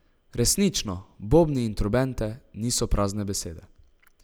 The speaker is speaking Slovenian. Resnično, bobni in trobente niso prazne besede.